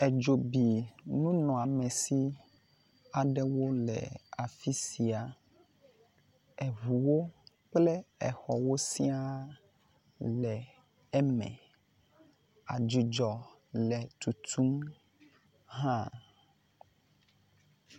Edzo bi nunɔamezi aɖewo le afisia, eʋuwo kple exɔwo siaa le eme, adzudzɔ le tutum hã.